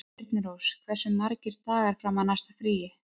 Þyrnirós, hversu margir dagar fram að næsta fríi?